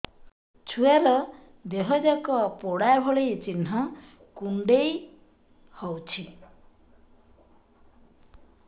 ଛୁଆର ଦିହ ଯାକ ପୋଡା ଭଳି ଚି଼ହ୍ନ କୁଣ୍ଡେଇ ହଉଛି